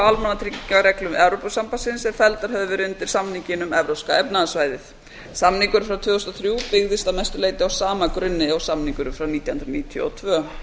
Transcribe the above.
á almannatryggingareglum evrópusambandsins er felldar höfðu verið undir samninginn um evrópska efnahagssvæðið samningurinn frá tvö þúsund og þrjú byggðist að mestu leyti á sama grunni og samningurinn frá nítján hundruð níutíu og tvö